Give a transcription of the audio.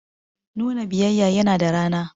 Nuna biyayya yana da rana.